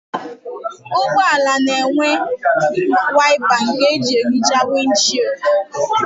Ụgbọala na-enwe waịpa nke na-ehicha wịndịshịldị.